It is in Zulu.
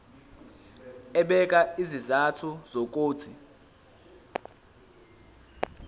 ebeka izizathu zokuthi